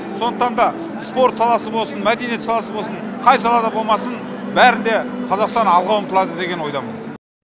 сондықтан да спорт саласы болсын мәдениет саласы болсын қай салада болмасын бәрінде қазақстан алға ұмтылады деген ойдамын